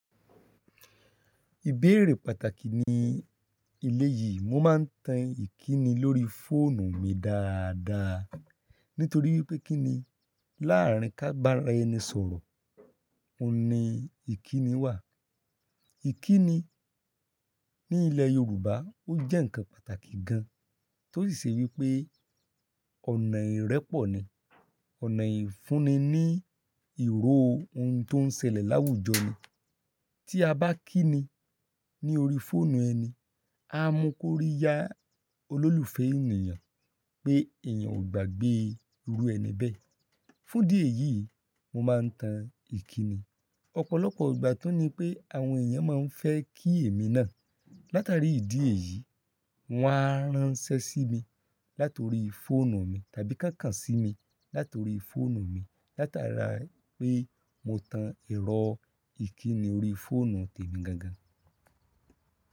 Ìbéèrè pàtàkì ni ilé yìí. Mo máa ń tan ìkíni lórí fóònù mi dáadáa nítorí wípé kíni láàárín kábára ẹni sọ̀rọ̀, òun ni ìkíni wà. Ìkíni ní ilẹ̀ Yorùbá ó jẹ́ ǹkan pàtàkì gan tọ́ sì ṣe wípé ọ̀nà ìrẹ́pọ̀ ni, ọ̀nà ìfúnni ní ìró ohun tó ń ṣẹlẹ̀ láwùjọ ni. Tí a bá kíni ní orí fóònù ẹni, á mú kó rí yá olólùfẹ́ ènìyàn pé èèyàn ò gbàgbé irú ẹni bẹ́ẹ̀. Fún ìdí èyí, mo máa ń tan ìkíni. Ọ̀pọ̀lọpọ̀ ìgbà tún ni pé àwọn èèyàn máa ń fẹ́ kí èmi náà. Látari ìdí èyí, wọ́n á ránṣẹ́ sí mi látorí fóònù mi tàbí koǹkàn sí mi látorí fóònù mi látara pé mo tan ẹ̀rọ ìkíni orí fóònù tèmi gangan.